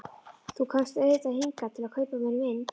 Þú komst auðvitað hingað til að kaupa af mér mynd.